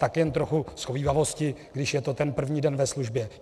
Tak jen trochu shovívavosti, když je to ten první den ve službě.